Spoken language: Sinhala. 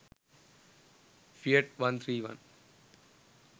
fiat 131